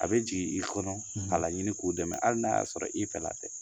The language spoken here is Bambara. A bɛ jigin i kɔnɔ a laɲini k'u dɛmɛ hali n'a y'a sɔrɔ i fɛla dɛ